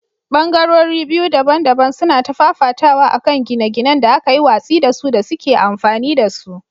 Ɓangarori biyu daban-daban suna ta fafatawa a kan gine-ginen da aka yi watsi da su da suke amfani da su.